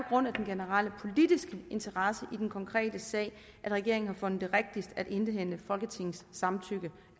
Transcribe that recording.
grund af den generelle politiske interesse i den konkrete sag at regeringen har fundet det rigtigst at indhente folketingets samtykke